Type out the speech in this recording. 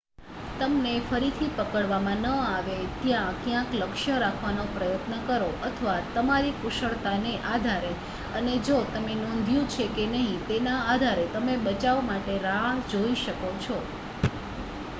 તમને ફરીથી પકડવામાં ન આવે ત્યાં ક્યાંક લક્ષ્ય રાખવાનો પ્રયત્ન કરો અથવા તમારી કુશળતાને આધારે અને જો તમે નોંધ્યું છે કે નહીં તેના આધારે તમે બચાવ માટે રાહ જોઈ શકો છો